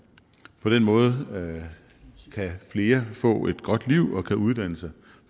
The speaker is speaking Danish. måde kan flere få et godt liv og kan uddanne sig